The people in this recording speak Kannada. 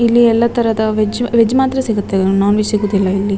ಇಲ್ಲಿ ಎಲ್ಲ ತರದ ವೆಜ್ ವೆಜ್ ಮಾತ್ರ ಸಿಗುತ್ತೆ ನೋನ್ ವೆಜ್ ಸಿಗಲ್ಲ ಇಲ್ಲಿ.